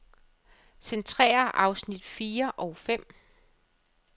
Centrér afsnit fire og fem.